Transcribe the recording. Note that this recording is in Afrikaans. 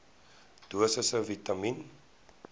dosisse vitamien